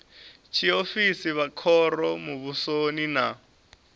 tshiofisi vha khoro muvhusoni na